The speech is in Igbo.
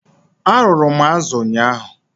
Arụrụ m azu ụnyaahụ.